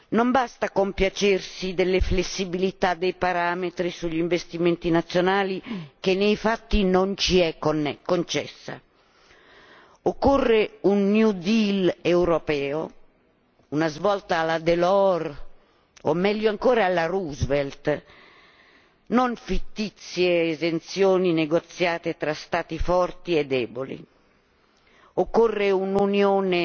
Non basta compiacersi delle flessibilità dei parametri sugli investimenti nazionali che nei fatti non ci è concessa occorre un New Deal europeo, una svolta alla Delors o meglio ancora alla Roosevelt, non fittizie esenzioni negoziate tra Stati forti e deboli. Occorre un'Unione